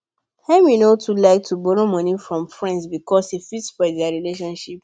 emily no too like to borrow money from friends because e fit spoil their friendship